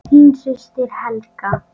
Þín systir Helga.